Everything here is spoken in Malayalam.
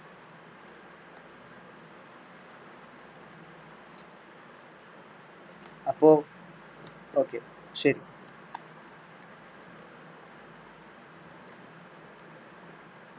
അപ്പൊ okay ശെരി.